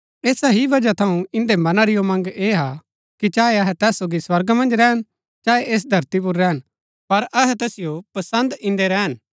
ऐसा ही वजह थऊँ इन्दै मना री उमंग ऐह हा कि चाहे अहै तैस सोगी स्वर्गा मन्ज रैहन चाहे ऐस धरती पुर रैहन पर अहै तैसिओ पसन्द इन्दै रैहन